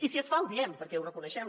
i si es fa ho diem perquè ho reconeixem